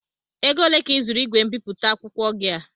Ego ole ka ị zụrụ ígwè mbipụta akwụkwọ gị a?